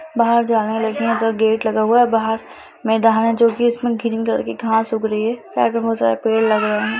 बाहर जाने लगी हैं जो गेट लगा हुआ है बाहर मैदान है जो कि उसमें ग्रीन कलर की घास उग रही हैं साइड में बोहोत सारे पेड़ लगे हुए हैं।